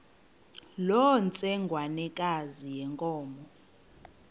loo ntsengwanekazi yenkomo